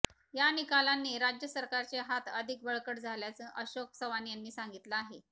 या निकालांनी राज्य सरकारचे हात अधिक बळकट झाल्याचं अशोक चव्हाण यांनी सांगितलं आहे